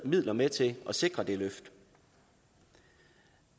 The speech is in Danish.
midler med til at sikre det løft